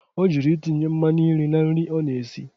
Ọ jụrụ itinye mmanụ nri na nri ọ na-esi.